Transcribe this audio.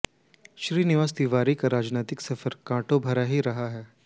श्रीनिवास तिवारी का राजनैतिक सफर कांटो भरा ही रहा है